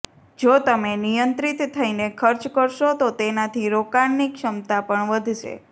જો તમે નિયંત્રિત થઈને ખર્ચ કરશો તો તેનાથી રોકાણની ક્ષમતા પણ વધશે